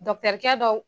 kɛ dɔw